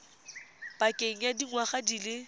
pakeng ya dingwaga di le